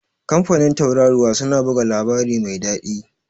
kamfanin Tauraruwa suna buga labari mai dadi